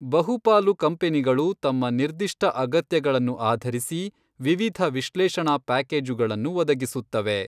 ಬಹುಪಾಲು ಕಂಪನಿಗಳು ನಿಮ್ಮ ನಿರ್ದಿಷ್ಟ ಅಗತ್ಯಗಳನ್ನು ಆಧರಿಸಿ ವಿವಿಧ ವಿಶ್ಲೇಷಣಾ ಪ್ಯಾಕೇಜುಗಳನ್ನು ಒದಗಿಸುತ್ತವೆ.